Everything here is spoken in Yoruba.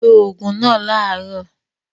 Lo òògùn náà láàárọ̀!